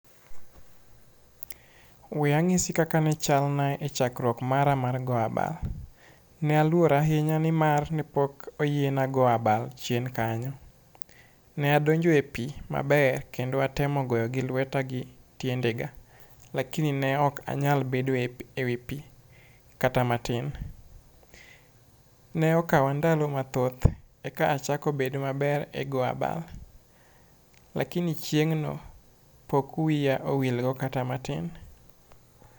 we ang'isi kaka ne chal na e chakruok mara mar go abal. Ne aluor ahinya nimar nipok oyiena go abal chien kanyo. Ne adonjo e pii maber kendo atemo goyo gi lweta gi tiende ga lakini ne ok anyal bedo epi ewi pii kata matin ne okawa ndalo mathoth eka achako bedo maber e go abal. lakini chieng'no pok wiya owil go kata matin